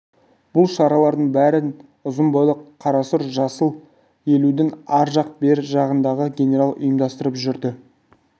бұл шаралардың бәрін ұзын бойлы қарасұр жасы елудің ар жақ-бер жағындағы генерал ұйымдастырып жүрді